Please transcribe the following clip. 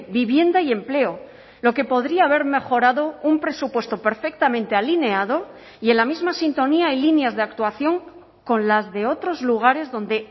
vivienda y empleo lo que podría haber mejorado un presupuesto perfectamente alineado y en la misma sintonía y líneas de actuación con las de otros lugares donde